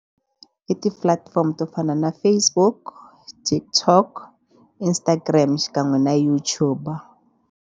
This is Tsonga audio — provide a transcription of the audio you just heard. I ti-platform to fana na Facebook, TikTok, Instagram xikan'we na YouTube.